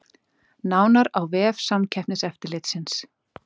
Nánar á vef Samkeppniseftirlitsins